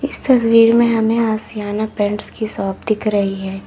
इस तस्वीर में हमें आशियाना पेंट्स की शॉप दिख रही है।